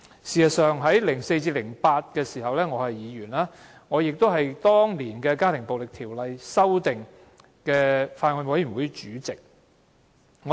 事實上 ，2004 年至2008年我擔任議員期間，是《家庭暴力條例草案》法案委員會主席。